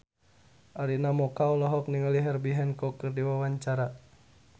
Arina Mocca olohok ningali Herbie Hancock keur diwawancara